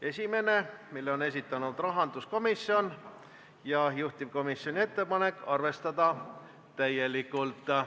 Esimese on esitanud rahanduskomisjon ja juhtivkomisjoni ettepanek on arvestada seda täielikult.